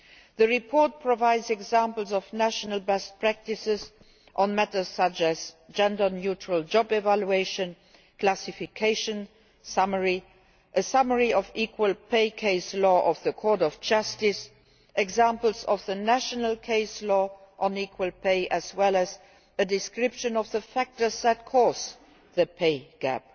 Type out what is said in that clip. The report provides examples of national best practices on matters such as gender neutral job evaluation, classification, a summary of equal pay case law of the Court of Justice, examples of national case law on equal pay, as well as a description of the factors that cause the gender pay gap.